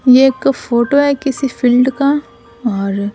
ये एक फोटो है किसी फील्ड का और--